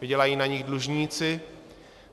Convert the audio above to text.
Vydělají na něm dlužníci.